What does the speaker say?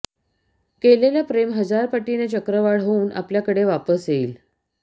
केलेलं प्रेम हजार पटीने चक्रवाढ होवुन आपल्या कडे वापस येईल